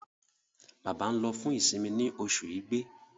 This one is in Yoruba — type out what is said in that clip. Bába nlo fún isinmi ní Oṣù Ìgbé.